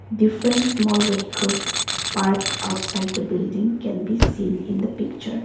different small vehicles parked outside the building can be seen in the picture.